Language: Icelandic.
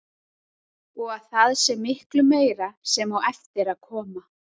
Og að það sé miklu meira sem á eftir að koma.